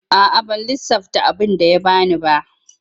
A'a ban lissafta abinda ya bani ba.